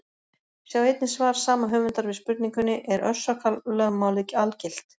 Sjá einnig svar sama höfundar við spurningunni: Er orsakalögmálið algilt?